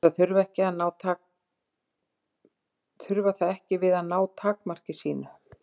Til þess að trufla það ekki við að ná takmarki sínu.